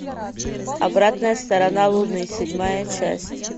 обратная сторона луны седьмая часть